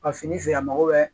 A fini feere a mago bɛ